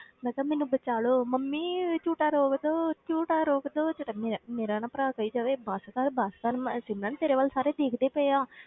ਮੈਂ ਕਿਹਾ ਮੈਨੂੰ ਬਚਾ ਲਓ ਮੰਮੀ ਵੀ ਝੂਟਾ ਰੋਕ ਦਓ ਝੂਟਾ ਰੋਕ ਦਓ, ਤੇ ਮੈਂ ਮੇਰਾ ਨਾ ਭਰਾ ਕਹੀ ਜਾਵੇ ਬਸ ਕਰ ਬਸ ਕਰ ਮੈਂ ਸਿਮਰਨ ਤੇਰੇ ਵੱਲ ਸਾਰੇ ਦੇਖਦੇ ਪਏ ਆ,